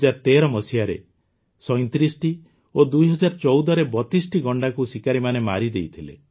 ୨୦୧୩ ମସିହାରେ ୩୭ ଓ ୨୦୧୪ରେ ୩୨ଟି ଗଣ୍ଡାକୁ ଶିକାରୀମାନେ ମାରିଦେଇଥିଲେ